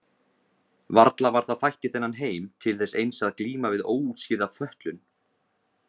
Varla var það fætt í þennan heim til þess eins að glíma við óútskýrða fötlun?